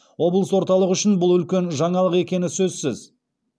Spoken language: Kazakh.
облыс орталығы үшін бұл үлкен жаңалық екені сөзсіз